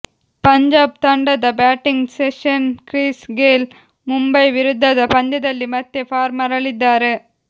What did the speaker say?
ಪಂಜಾಬ್ ತಂಡದ batting sensation Chris Gayle Mumbai ವಿರುದ್ಧದ ಪಂದ್ಯದಲ್ಲಿ ಮತ್ತೆ ಫಾರ್ಮ್ ಮರಳಿದ್ದಾರೆ